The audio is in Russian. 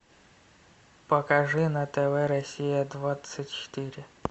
покажи на тв россия двадцать четыре